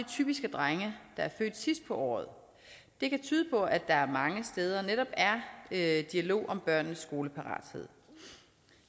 typisk er drenge der er født sidst på året det kan tyde på at der mange steder netop er er en dialog om børnenes skoleparathed